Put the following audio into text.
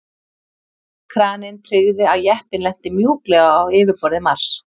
Kraninn tryggði að jeppinn lenti mjúklega á yfirborði Mars.